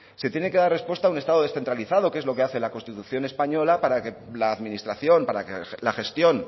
se tiene que dar respuesta a un estado descentralizado que es lo que hace la constitución española para que la administración para que la gestión